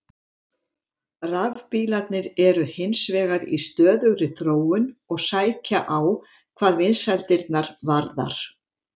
Rafbílarnir eru hins vegar í stöðugri þróun og sækja á hvað vinsældirnar varðar.